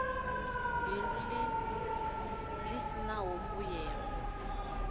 bindu ḽi si ḽa mbuyelo